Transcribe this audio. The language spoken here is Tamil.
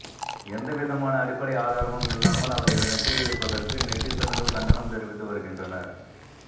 எந்தவிதமான அடிப்படை ஆதாரமும் இல்லாமல் அவர் இதனை கூறியிருப்பதற்கு நெட்டிசன்கள் கண்டனம் தெரிவித்து வருகின்றனர்